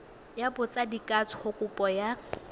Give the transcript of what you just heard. ya botsadikatsho kopo ya go